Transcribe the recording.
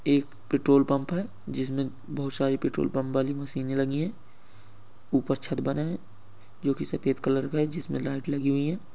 यह एक petrol pump है जिसमें बहुत सारी पेट्रोल पंप वाली मशीनें लगी हैं। ऊपर छत बना है जो के सफेद कलर का है जिसमें लाइट लगी हुई हैं।